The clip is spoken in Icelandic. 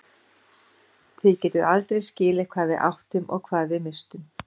Þið getið aldrei skilið hvað við áttum og hvað við misstum.